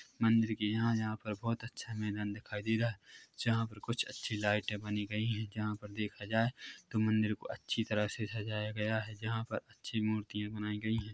मंदिर के यहाँ यहाँ पर बहुत अच्छा मैदान दिखाई दे रहा है जहाँ पर कुछ अच्छी लाइटे बनी गई है जहाँ पर देखा जाय तो मंदिर को अच्छी तरह से सजाया गया है जहाँ पर अच्छी मूर्तियां बनाई गई है।